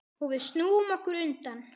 Og við snúum okkur undan.